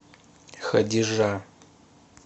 хадижа